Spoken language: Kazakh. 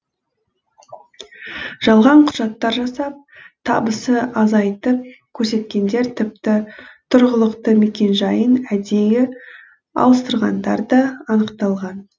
жалған құжаттар жасап табысы азайтып көрсеткендер тіпті тұрғылықты мекенжайын әдейі ауыстырғандар да анықталған